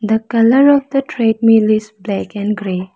The colour of the treadmill is black and grey.